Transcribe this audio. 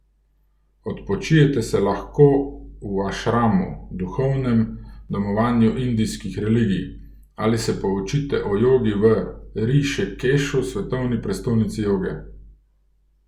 Odpočijete se lahko v ašramu, duhovnem domovanju indijskih religij, ali se poučite o jogi v Rišikešu, svetovni prestolnici joge.